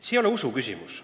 See ei ole usu küsimus.